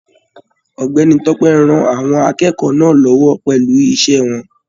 Ọ̀gbẹ́ni Tope rán àwọn akẹ́kọ̀ọ́ náà l'ọwọ pẹlú iṣẹ wọn.